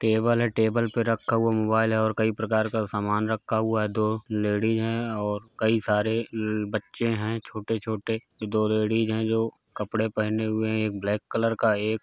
Table है table पर रखा हुआ मोबाईल है और कई प्रकार का सामान रखा हुआ है दो लेडिज हैं और कई सारे ल बच्चे हैं। छोटे-छोटे दो लेडिज हैं जो कपड़े पहने हुए हैं एक ब्लैक कलर का एक --